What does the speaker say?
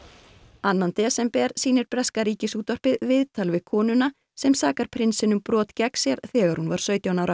annan desember sýnir breska Ríkisútvarpið viðtal við konuna sem sakar prinsinn um brot gegn sér þegar hún var sautján ára